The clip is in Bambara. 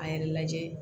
A yɛrɛ lajɛ